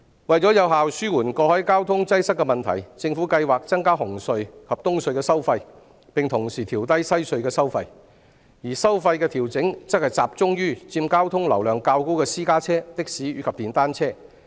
為有效紓緩過海交通擠塞的問題，政府計劃增加紅磡海底隧道及東區海底隧道的收費，並同時調低西區海底隧道的收費，而收費的調整會集中於佔交通流量較高的私家車、的士和電單車。